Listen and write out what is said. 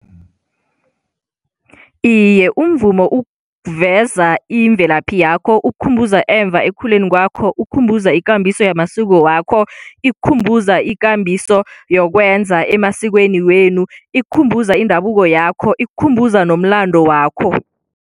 Iye, umvumo uveza imvelaphi yakho ukukhumbuza emva ekukhuleni kwakho, ukukhumbuza ikambiso yamasiko wakho, ikukhumbuza ikambiso yokwenza emasikweni wenu, ikukhumbuza indabuko yakho, ikukhumbuza nomlando wakho.